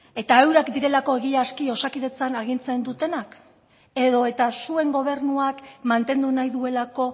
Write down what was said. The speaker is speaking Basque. eta eurek direlako egiazki osakidetzan agintzen dutenak edo eta zuen gobernuak mantendu nahi duelako